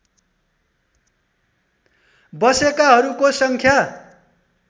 बसेकाहरूको सङ्ख्या